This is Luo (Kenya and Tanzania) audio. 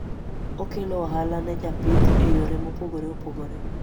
Okelo ohala ne japith e yore mopogore opogore